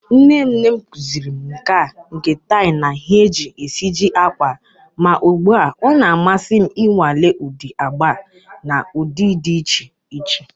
Nne nne m kụziiri m nkà nke tie na ihe e ji esiji ákwà, ma ugbu a ọ na-amasị m ịnwale ụdị agba na ụdị dị iche iche.